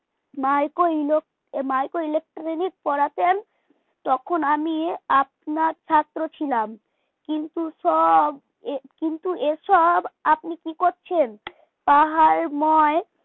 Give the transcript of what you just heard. micro electro micro electronic পড়াতেন তখন আমি আপনার ছাত্র ছিলাম কিন্তু সব কিন্তু এসব আপনি কি করছেন পাহাড় ময়